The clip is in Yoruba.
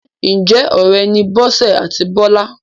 Ǹjẹ́ ọ̀rẹ́ ni Bọ́sẹ̀ àti Bọ́lá?